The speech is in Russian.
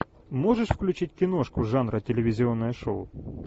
можешь включить киношку жанра телевизионное шоу